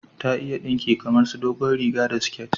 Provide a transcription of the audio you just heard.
Ta iya dinki kamar su dogon riga da siket